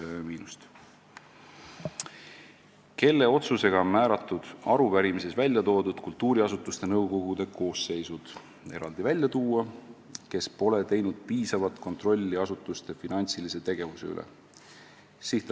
Seitsmes küsimus: "Kelle otsusega on määratud arupärimises välja toodud kultuuriasutuste nõukogude koosseisud , kes pole teinud piisavat kontrolli asutuste finantsilise tegevuse üle?